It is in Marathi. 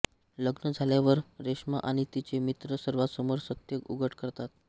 लग्न झाल्यावर रेश्मा आणि तिचे मित्र सर्वांसमोर सत्य उघड करतात